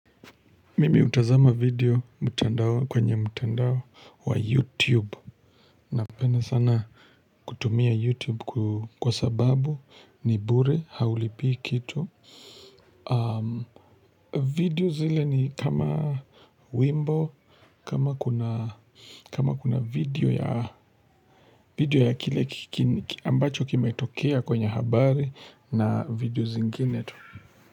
Mimi hutazama video mtandao kwenye mtandao wa youtube. Napenda sana kutumia youtube kwa sababu ni bure haulipii kitu. Video zile ni kama wimbo kama kuna kama kuna video ya kile ambacho kime tokea kwenye habari na video zingine tu.